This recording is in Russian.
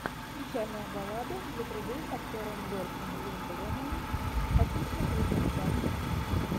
печальная баллада для трубы с актером дольфом лундгреном хочу смотреть сейчас